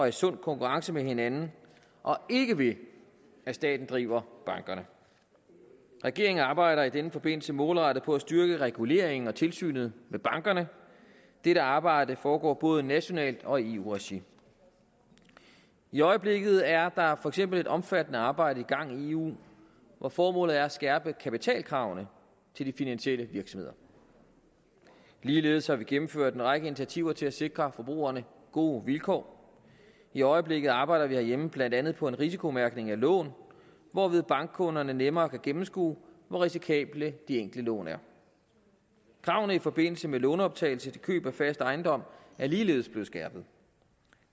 i sund konkurrence med hinanden og ikke ved at staten driver bankerne regeringen arbejder i den forbindelse målrettet på at styrke reguleringen af og tilsynet med bankerne dette arbejde foregår både nationalt og i eu regi i øjeblikket er der for eksempel et omfattende arbejde i gang i eu hvor formålet er at skærpe kapitalkravene til de finansielle virksomheder ligeledes har vi gennemført en række initiativer til at sikre forbrugerne gode vilkår i øjeblikket arbejder vi herhjemme blandt andet på en risikomærkning af lån hvorved bankkunderne nemmere kan gennemskue hvor risikable de enkelte lån er kravene i forbindelse med lånoptagelse til køb af fast ejendom er ligeledes blevet skærpet